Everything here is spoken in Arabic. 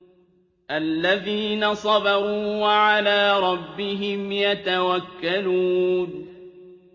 الَّذِينَ صَبَرُوا وَعَلَىٰ رَبِّهِمْ يَتَوَكَّلُونَ